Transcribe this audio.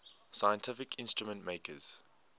scientific instrument makers